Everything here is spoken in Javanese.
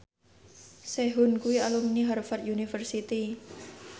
Sehun kuwi alumni Harvard university